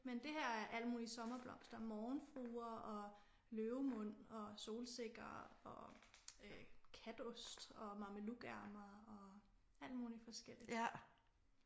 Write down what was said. Men det her er alt muligt sommerblomster morgenfruer og løvemund og solsikker og katost og mamelukærmer og alt muligt forskelligt